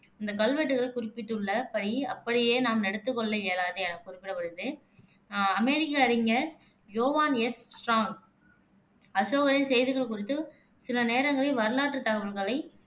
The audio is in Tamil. இந்தக் கல்வெட்டுகள் குறிப்பிட்டுள்ள படி அப்படியே நாம் எடுத்துக் கொள்ள இயலாது எனக் குறிப்பிடப்படுது ஆஹ் அமெரிக்க அறிஞர் யோவான் எஸ் ஸ்ட்ராங், அசோகரின் செய்திகள் குறித்து சில நேரங்களில், வரலாற்றுத் தகவல்களைப்